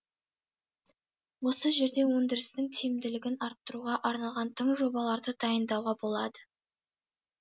осы жерде өндірістің тиімділігін арттыруға арналған тың жобаларды дайындауға болады